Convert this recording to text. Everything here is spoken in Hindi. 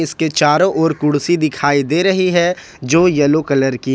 के चारों ओर कुर्सी दिखाई दे रही है जो येलो कलर की है।